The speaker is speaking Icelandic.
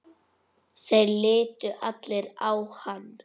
Þeir litu allir á hann.